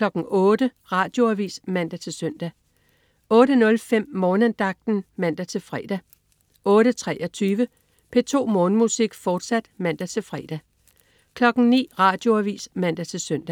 08.00 Radioavis (man-søn) 08.05 Morgenandagten (man-fre) 08.23 P2 Morgenmusik, fortsat (man-fre) 09.00 Radioavis (man-søn)